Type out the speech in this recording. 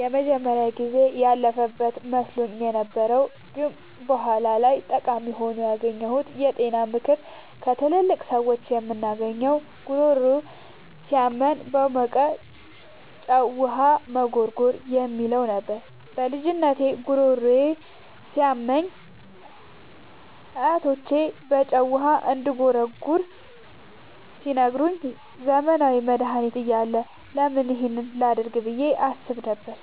የመጀመሪያው ጊዜ ያለፈበት መስሎኝ የነበረው ግን በኋላ ላይ ጠቃሚ ሆኖ ያገኘሁት የጤና ምክር ከትላልቅ ሰዎች የምናገኘው "ጉሮሮ ሲያመን በሞቀ ጨው ውሃ መጉርጎር" የሚለው ነበር። በልጅነቴ ጉሮሮዬ ሲያመኝ አያቶቼ በጨው ውሃ እንድጉርጎር ሲነግሩኝ፣ ዘመናዊ መድሃኒት እያለ ለምን ይህን ላደርግ ብዬ አስብ ነበር።